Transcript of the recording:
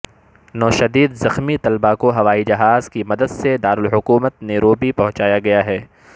نو شدید زخمی طلبہ کو ہوائی جہاز کی مدد سے دارالحکومت نیروبی پہنچایا گیا ہے